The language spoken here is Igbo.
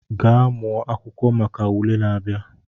Gaa mụọ akwụkwọ maka ule na-abịa!